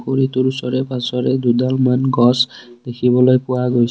পুৰিটোৰ ওচৰে পাজৰে দুডালমান গছ দেখিবলৈ পোৱা গৈছে।